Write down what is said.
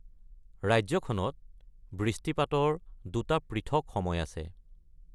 ৰাজ্যখনত বৃষ্টিপাতৰ দুটা পৃথক সময় আছে।